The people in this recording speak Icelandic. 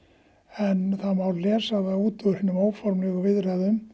en það má lesa út úr hinum óformlegu viðræðum